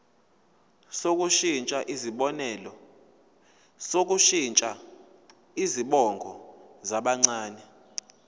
sokushintsha izibongo zabancane